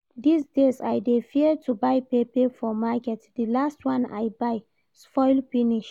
This days I dey fear to buy pepper for market, the last one I buy spoil finish